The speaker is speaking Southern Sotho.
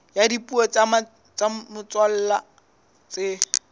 ya dipuo tsa motswalla tse